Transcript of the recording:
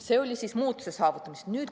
See oli muutuse saavutamisest.